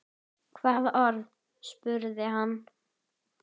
Hvaða orð? spurði hann.